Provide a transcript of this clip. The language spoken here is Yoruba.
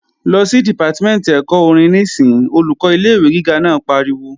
Lọ sí Dìpátímẹ̀ntì ẹ̀kọ́ orin níìsín! Olùkọ́ ilé-ìwé gíga naa pariwo